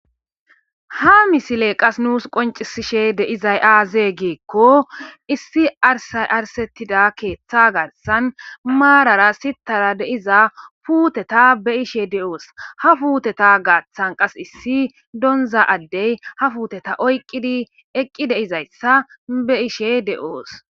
Ha misiley qase nus qoncisishe de'izay axe gikon issi arsay arsetida keetha garsan maarara sitara de'iza puuteti be'ashe de'os.ha puuteti gaatha qaseka issi donza addey puuteti oykidi eqi dizaysa be'ishe de'os.